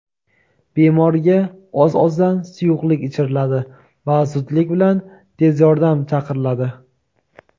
Bemorga oz-ozdan suyuqlik ichiriladi va zudlik bilan tez yordam chaqiriladi.